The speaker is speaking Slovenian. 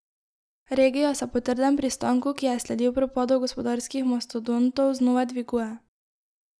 Regija se po trdem pristanku, ki je sledil propadu gospodarskih mastodontov, znova dviguje.